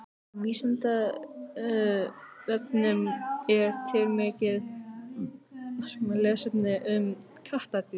Á Vísindavefnum er til mikið lesefni um kattardýr.